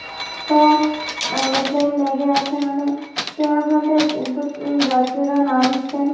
উহ aeroplane লেগে আছে ওখানে কেউ ঐখান থেকে থে থে দু যাত্রীরা নামছে ।